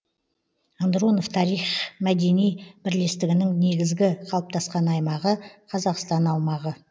андронов тарих мәдени бірлестігінің негізгі қалыптасқан аймағы қазақстан аумағы